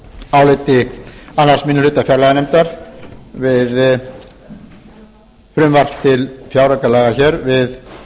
áliti annar minni hluta fjárlaganefndar við frumvarp til fjáraukalaga hér við